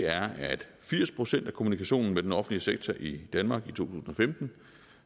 er at firs procent af kommunikationen med den offentlige sektor i danmark i to tusind og femten